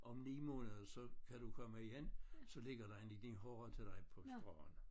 Om 9 måneder så kan du komme igen så ligger der en lille horra til dig på stranden